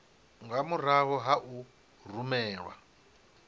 nga murahu ha u rumelwa